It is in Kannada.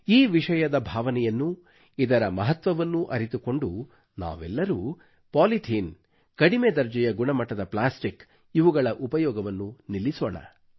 ಈ ವಿಷಯದ ಭಾವನೆಯನ್ನು ಇದರ ಮಹತ್ವವನ್ನು ಅರಿತುಕೊಂಡು ನಾವೆಲ್ಲರೂ ಪಾಲಿಥೀನ್ ಕಡಿಮೆ ದರ್ಜೆಯ ಗುಣಮಟ್ಟದ ಪ್ಲಾಸ್ಟಿಕ್ ಇವುಗಳ ಉಪಯೋಗವನ್ನು ನಿಲ್ಲಿಸೋಣ